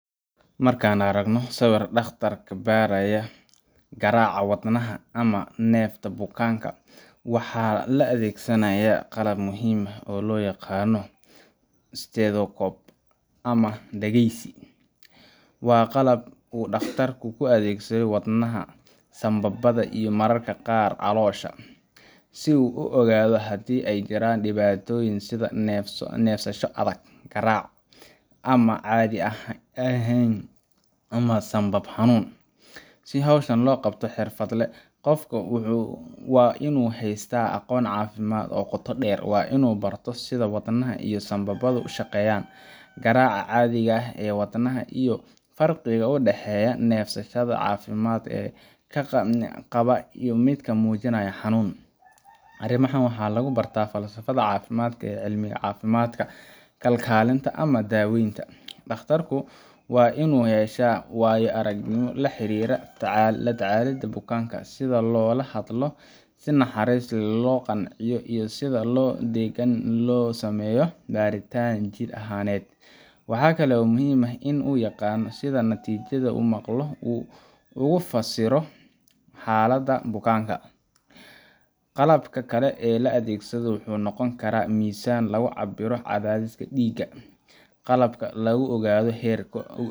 Marka aan aragno dhakhtar baaraya garaaca wadnaha ama neefsashada bukaanka, waxaa la adeegsanayaa qalab muhiim ah oo loo yaqaan stethoscope ama dhagaysi. Waa qalab uu dhakhtarku ku dhagaysto wadnaha, sambabada, iyo mararka qaar caloosha, si uu u ogaado haddii ay jiraan dhibaatooyin sida neefsasho adag, garaac aan caadi ahayn, ama sanbab xanuun. Si hawshan loo qabto si xirfad leh, qofka waa inuu haystaa aqoon caafimaad oo qoto dheer. Waa inuu barto sida wadnaha iyo sambabada u shaqeeyaan, garaaca caadiga ah ee wadnaha, iyo farqiga u dhexeeya neefsashada caafimaad qaba iyo midka muujinaya xanuun. Arrimahan waxaa lagu barta fasallada caafimaadka ee cilmiga caafimaadka, kalkaalinta, ama daawaynta. Dhakhtarku waa inuu yeeshaa waayo-aragnimo la xiriirta la tacaalida bukaanka – sida loola hadlo si naxariis leh, loo qanciyo, iyo sida si degan loogu sameeyo baaritaan jidh ahaaneed. Waxaa kale oo muhiim ah in uu yaqaan sida natiijada uu maqlo uu ugu fasiro xaaladda bukaanka. Qalabka kale ee la adeegsado wuxuu noqon karaa miisaan lagu cabbiro cadaadiska dhiigga, qalab lagu ogaado heerka ,